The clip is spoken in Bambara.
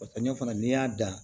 O sɛɲɛ fana n'i y'a dan